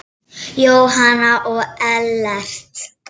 Jóhanna og Ellert.